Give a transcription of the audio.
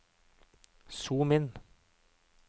zoom inn